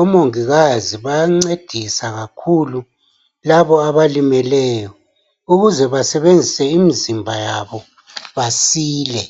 omongikazi bayancedisa kakhulu laba abalimeleyo ukuze basebenzise imzimba yabo basile.